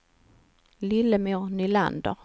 Lillemor Nylander